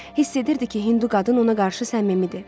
Hiss edirdi ki, Hindu qadın ona qarşı səmimidir.